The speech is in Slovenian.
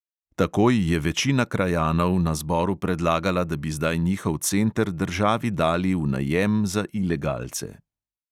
Takoj je večina krajanov na zboru predlagala, da bi zdaj njihov center državi dali v najem za ilegalce.